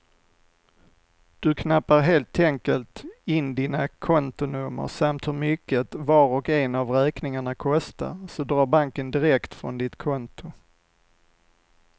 Du knappar helt enkelt in dina kontonummer samt hur mycket var och en av räkningarna kostar, så drar banken direkt från ditt konto.